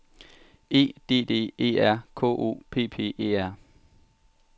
E D D E R K O P P E R